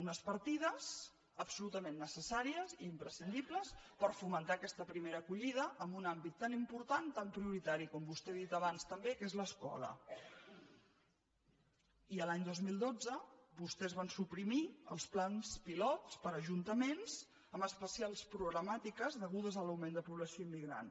unes partides absolutament necessàries i imprescindibles per fomentar aquesta primera acollida en un àmbit tan important i tan prioritari com vostè ha dit abans també que és l’escola i l’any dos mil dotze vostès van suprimir els plans pilot per a ajuntaments amb especials problemàtiques degudes a l’augment de població immigrant